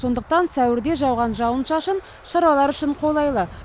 сондықтан сәуірде жауған жауын шашын шаруалар үшін қолайлы